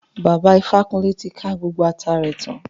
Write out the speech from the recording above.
Bàbá Ifákúnlé ti ká gbogbo ata rẹ tán